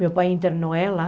Meu pai internou ela.